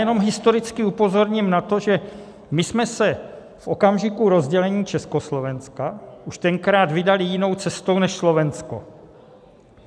Jenom historicky upozorním na to, že my jsme se v okamžiku rozdělení Československa už tenkrát vydali jinou cestou než Slovensko.